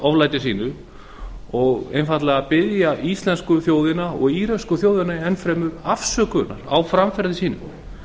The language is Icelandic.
oflæti sínu og einfaldlega biðja íslensku þjóðina og íröksku þjóðina enn fremur afsökunar á framferði sínu